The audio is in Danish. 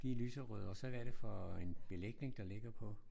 De er lyserøde. Og så hvad er det for en belægning der ligger på?